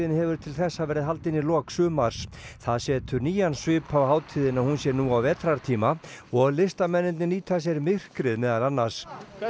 hefur til þessa verið haldin í lok sumars það setur nýjan svip á hátíðina að hún sé nú á vetrartíma og listamennirnir nýta sér myrkrið meðal annars